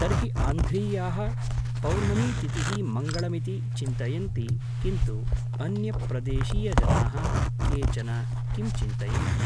तर्हि आन्ध्रीयाः पौर्णमीतिथिः मङ्गळमिति चिन्तयन्ति किन्तु अन्यप्रदेशीयजनाः केचन किं चिन्तयन्ति